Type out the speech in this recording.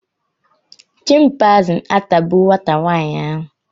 chịmpaizịn atagbuo nwata nwaanyị ahụ